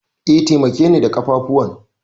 E, taimakeni da ƙafafuwan.